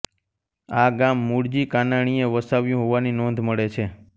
આ ગામ મૂળજી કાનાણીએ વસાવ્યું હોવાની નોંધ મળે છે